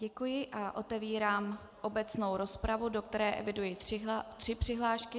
Děkuji a otevírám obecnou rozpravu, do které eviduji tři přihlášky.